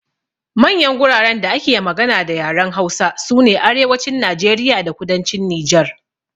Manyan guraren da ake magana da yaren Hausa sune Arewacin Najeriya da Kudancin Nijar.